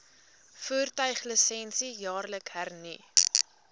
voertuiglisensie jaarliks hernu